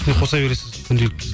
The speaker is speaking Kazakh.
үстіне қоса бересіз күнделікті